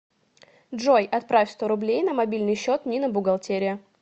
джой отправь сто рублей на мобильный счет нина бухгалтерия